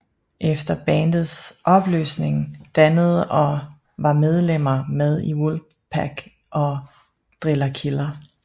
Efter bandets opløsning dannede og var medlemmer med i Wolfpack og Driller Killer